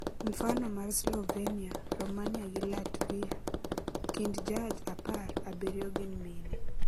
mfano mar Slovenia, Romania gi Latvia kind jaj apar, abiryo gin mine